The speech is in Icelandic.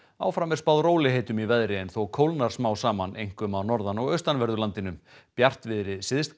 áfram er spáð rólegheitum í veðri en þó kólnar smám saman einkum á norðan og austanverðu landinu bjartviðri